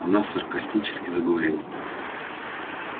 она саркастически заговорила